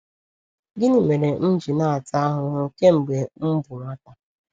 Gịnị mere m ji na-ata ahụhụ kemgbe m bụ nwata?